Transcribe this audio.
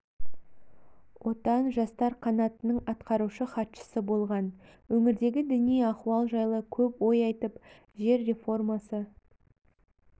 отан жастар қанатының атқарушы хатшысы болған өңірдегі діни ахуал жайлы көп ой айтып жер реформасы